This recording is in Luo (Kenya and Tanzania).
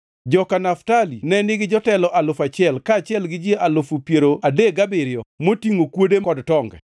joka Naftali ne nigi jotelo alufu achiel (1,000) kaachiel gi ji alufu piero adek gabiriyo (37,000) motingʼo kuode kod tonge;